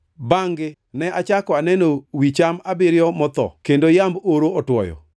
Bangʼ-gi ne achako aneno wi cham abiriyo motho kendo yamb oro otwoyo.